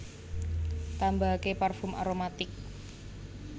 Tambahake parfum aromatic